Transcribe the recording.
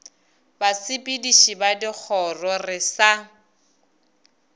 basepediši ba dikgoro re sa